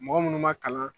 Mɔgɔ munnu ma kalan